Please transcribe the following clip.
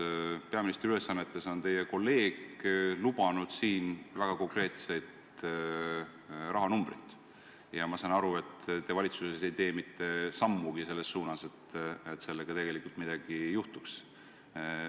Teie peaministri ülesannetes kolleeg on lubanud väga konkreetseid rahanumbreid, aga ma saan aru, et te valitsuses ei tee mitte sammugi selles suunas, et selles osas tegelikult midagi juhtuks.